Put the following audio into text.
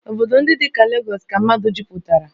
Obodo ndị dị ka Legọs ka mmadụ jupụtara